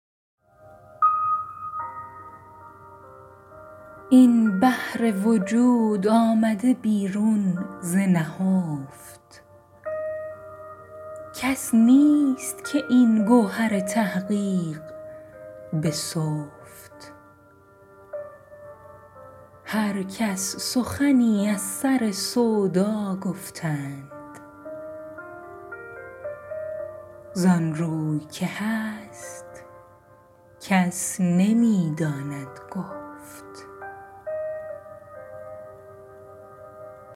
این بحر وجود آمده بیرون ز نهفت کس نیست که این گوهر تحقیق بسفت هر کس سخنی از سر سودا گفتند ز آن روی که هست کس نمی داند گفت